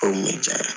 O kun bɛ diya ye